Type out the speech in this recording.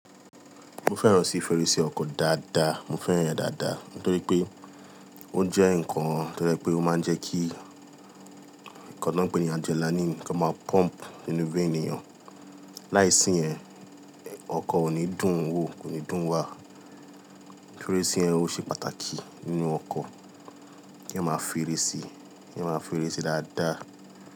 Mo fẹ́ràn sí fèrèsé ọkọ̀ dáadáa, mo fẹ́ràn rẹ̀ dáadáa nítorí pé ó jẹ́ nǹkan tó jẹ́ pé ó máa ń jẹ́ kí nǹkan tó ń pé ní adrenaline kan máa pump nínú vein ènìyàn. Láìsí yẹn, ọkọ̀ ò ní dùn wò, kò ní dùn wà. Fèrèsé yẹn ó ṣe pàtàkì nínú ọkọ̀, kí a máa fi eré sí, kí èèyàn máa fi eré sí dáadáa.